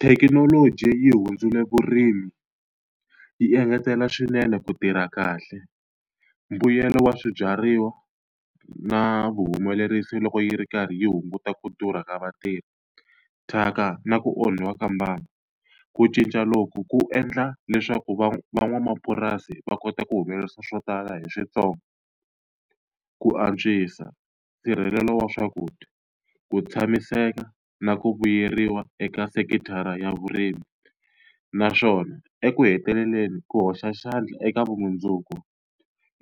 Thekinoloji yi hundzule vurimi, yi engetela swinene ku tirha kahle, mbuyelo wa swibyariwa na vuhumelerisi loko yi ri karhi yi hunguta ku durha ka vatirhi, thyaka na ku onhiwa ka mbango. Ku cinca loku ku endla leswaku van'wamapurasi va kota ku humelerisa swo tala hi swintsongo. Ku antswisa nsirhelelo wa swakudya. Ku tshamiseka na ku vuyeriwa eka sekithara ya vurimi, naswona eku heteleleni ku hoxa xandla eka vumundzuku